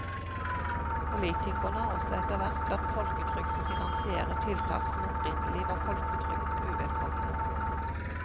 Politikerne har også etterhvert latt folketrygden finansiere tiltak som opprinnelig var folketrygden uvedkommende.